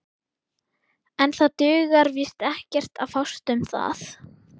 En það dugar víst ekkert að fást um það.